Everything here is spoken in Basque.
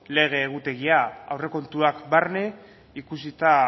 lege egutegia aurrekontuak barne ikusita